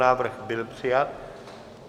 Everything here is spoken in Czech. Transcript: Návrh byl přijat.